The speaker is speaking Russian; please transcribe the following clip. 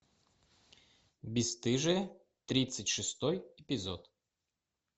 бесстыжие тридцать шестой эпизод